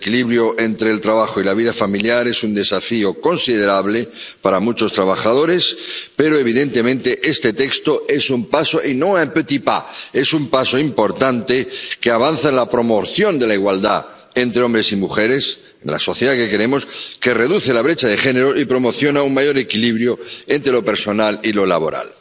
El equilibrio entre el trabajo y la vida familiar es un desafío considerable para muchos trabajadores, pero, evidentemente, este texto es un paso y no un petit pas Es un paso importante que avanza en la promoción de la igualdad entre hombres y mujeres, en la sociedad que queremos, que reduce la brecha de género y promociona un mayor equilibrio entre lo personal y lo laboral.